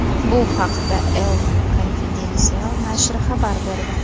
Bu haqda El Confidencial nashri xabar berdi.